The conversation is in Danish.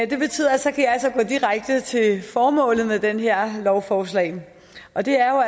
det betyder at så kan jeg altså gå direkte til formålet med det her lovforslag og det er jo